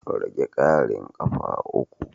Rage ƙarin ƙafa uku.